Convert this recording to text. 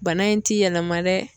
Bana in ti yɛlɛma dɛ